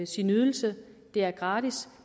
sin ydelse det er gratis